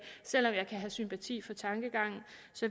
selv om jeg kan have sympati for tankegangen